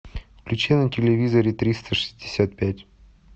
включи на телевизоре триста шестьдесят пять